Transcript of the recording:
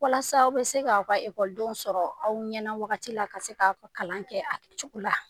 Walasa aw bɛ se k'aw ka ekɔlidenw sɔrɔ aw ɲɛna wagati la, ka se k'a ka kalan kɛ a cogo la.